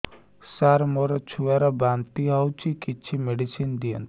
ସାର ମୋର ଛୁଆ ର ବାନ୍ତି ହଉଚି କିଛି ମେଡିସିନ ଦିଅନ୍ତୁ